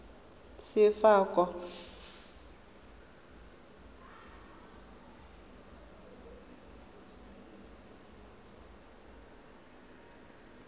sefako